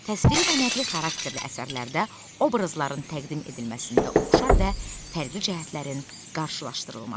Təsviri və nəqli xarakterli əsərlərdə obrazların təqdim edilməsində oxşar və fərqli cəhətlərin qarşılaşdırılması.